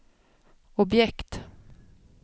objekt